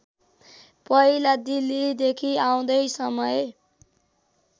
पहिला दिल्लीदेखि आउँदै समय